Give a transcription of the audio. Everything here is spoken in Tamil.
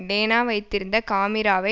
டேனா வைத்திருந்த காமிராவை